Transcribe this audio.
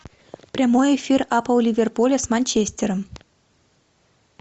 прямой эфир апл ливерпуля с манчестером